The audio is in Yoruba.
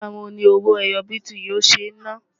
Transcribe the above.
ní igbà wò ní owó ẹyọ biti yó ṣé nà?